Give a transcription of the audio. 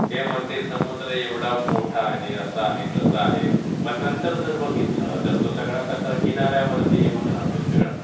ते म्हणतील समुद्र एवढा मोठा आहे, असा आहे, तसा आहे. पण नंतर जर बघितलं तर तो सगळा कचरा किनार् यावरती येऊन राहतो सगळा.